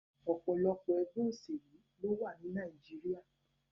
Òpòlopò egbé òsèlú ló wà ní Naíjiria